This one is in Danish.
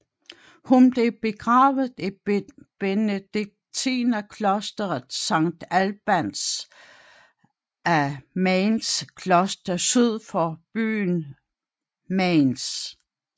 Hun blev begravet i benediktinerklosteret Sankt Albans af Mainzs kloster syd for byen Mainz